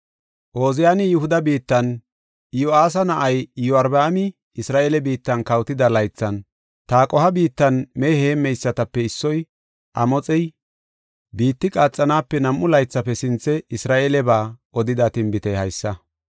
Ooziyani Yihuda biittan, Iyo7aasa na7ay Iyorbaami Isra7eele biittan kawotida laythan Taqoha biittan mehe heemmeysatape issoy, Amoxey, biitti qaaxanaape nam7u laythafe sinthe Isra7eeleba odida tinbitey haysa: